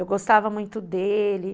Eu gostava muito dele.